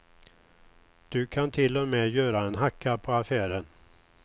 Du kan till och med göra en hacka på affären.